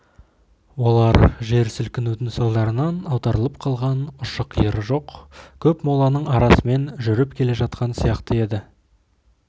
олар жер сілкінудің салдарынан аударылып қалған ұшы-қиыры жоқ көп моланың арасымен жүріп келе жатқан сияқты еді